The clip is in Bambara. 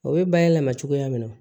O bɛ bayɛlɛma cogoya min na